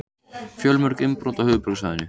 Fjölmörg innbrot á höfuðborgarsvæðinu